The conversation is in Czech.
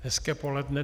Hezké poledne.